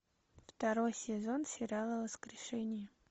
второй сезон сериала воскрешение